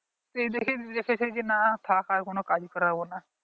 সেই দিকে দেখেছে যে না থাকার কোন কাজ করাবো না